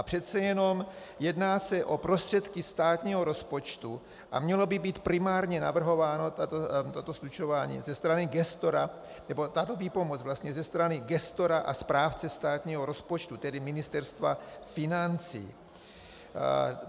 A přece jenom se jedná o prostředky státního rozpočtu a mělo by být primárně navrhováno, toto slučování, ze strany gestora, nebo tato výpomoc vlastně, ze strany gestora a správce státního rozpočtu, tedy Ministerstva financí.